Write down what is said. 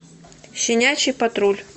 щенячий патруль